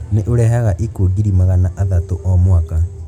Nĩ ũrehaga ikuũ ngiri magana athatũ o mwaka.